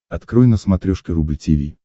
открой на смотрешке рубль ти ви